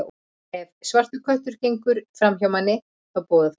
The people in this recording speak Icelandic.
Ef svartur köttur gengur fram hjá manni, þá boðar það ógæfu.